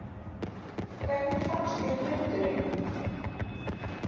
Hvernig fannst þér fundurinn?